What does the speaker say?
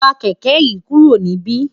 wa kẹ̀kẹ́ yìí kúrò níbí!